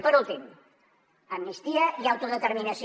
i per últim amnistia i autodeterminació